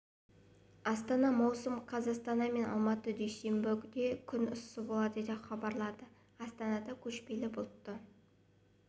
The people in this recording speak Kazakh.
астана маусым қаз астана мен алматыда дүйсенбіде күн ыссы болады деп хабарлады астанада көшпелі бұлтты